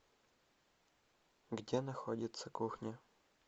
где находится кухня